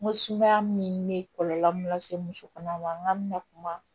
N ko sumaya min bɛ kɔlɔlɔ mun lase musokɔnɔma ma n'an bɛna kuma